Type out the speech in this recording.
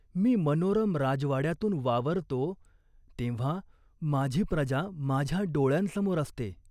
मी मनोरम राजवाड्यातून वावरतो, तेव्हा, माझी प्रजा माझ्या डोळ्यांसमोर असते.